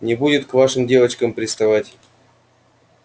не будет к нашим девчонкам приставать